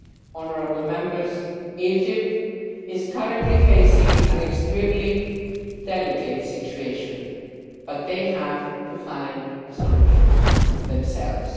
Honourable Members, Egypt is currently facing an extremely delicate situation, but they have to find a solution themselves.